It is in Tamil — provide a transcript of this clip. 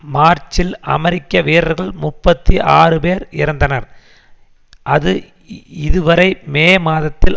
மார்ச்சில் அமெரிக்க வீரர்கள் முப்பத்தி ஆறு பேர் இறந்தனர் அது இதுவரை மே மாதத்தில்